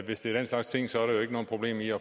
man